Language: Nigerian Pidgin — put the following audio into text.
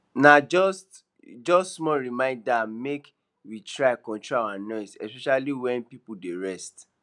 na just just small reminder make we try control our noise especially when people dey rest